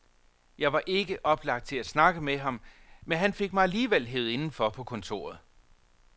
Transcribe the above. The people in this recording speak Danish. Jeg var ikke oplagt til at snakke med ham, men han fik mig alligevel hevet indenfor på kontoret.